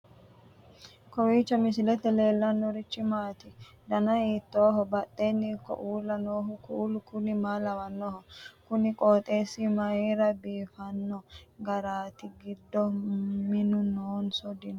kowiicho misilete leellanorichi maati ? dana hiittooho ?badhhenni ikko uulla noohu kuulu kuni maa lawannoho? kuni qooxeessi mayira biifanno garaati giddo minu noonso dino